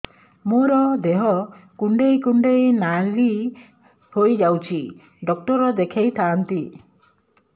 ମୋର ଦେହ କୁଣ୍ଡେଇ କୁଣ୍ଡେଇ ନାଲି ହୋଇଯାଉଛି ଡକ୍ଟର ଦେଖାଇ ଥାଆନ୍ତି